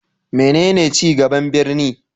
Menene ci gaban birni?